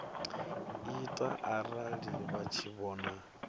ita arali vha tshi vhona